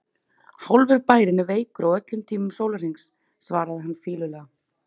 Hálfur bærinn er veikur á öllum tímum sólarhrings svaraði hann fýlulega.